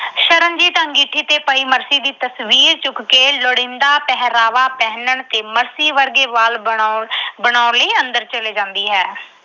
ਸ਼ਰਨਜੀਤ ਅੰਗੀਠੀ ਤੇ ਪਈ ਮਰਸੀ ਦੀ ਤਸਵੀਰ ਚੁੱਕ ਕੇ ਲੋੜੀਂਦਾ ਪਹਿਰਾਵਾ ਪਹਿਨਣ ਤੇ ਮਰਸੀ ਵਰਗੇ ਵਾਲ ਬਣਾਉਣ ਅਹ ਬਣਾਉਣ ਲਈ ਅੰਦਰ ਚਲੀ ਜਾਂਦੀ ਹੈ।